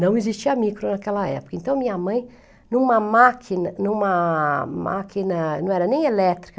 Não existia micro naquela época, então minha mãe, em uma máquina, em uma máquina, não era nem elétrica,